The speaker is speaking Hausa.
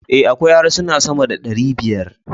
A, akwai harsuna sama da ɗari biyar